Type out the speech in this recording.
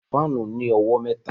Fáànù ní owó mẹ́ta